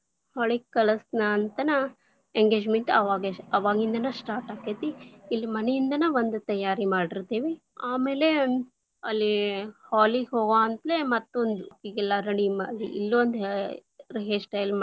Hall lang:Foreign ಗೆ ಕಳಸನ್ ಅಂತನ engagement lang:Foreign ಅವಾಗೆ ಅವಾಗಿಂದನ start lang:Foreign ಆಕ್ಕೆತಿ, ಇಲ್ಲಿ ಮನೆಯಿಂದನ್ ಬಂದ ತಯಾರಿ ಮಾಡಿತೇ೯ವಿ, ಆಮೇಲೆ ಅಲ್ಲೇ hall lang:Foreign ಗೆ ಹೋಗುವಂತ್ಲೆ ಮತ್ತೊಂದು ಹೀಗೆಲ್ಲಾ ready lang:Foreign ಮಾಡಿ ಇಲ್ಲೊಂದು ಹ್ಯಾ hair style lang:Foreign.